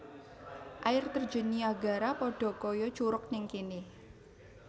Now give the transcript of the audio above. Air Terjun Niagara podo koyo curug ning kene